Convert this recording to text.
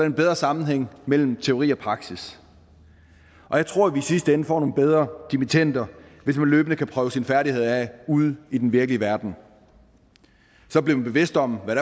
en bedre sammenhæng mellem teori og praksis og jeg tror at vi i sidste ende får nogle bedre dimittender hvis man løbende kan prøve sine færdigheder af ude i den virkelige verden så bliver man bevidst om hvad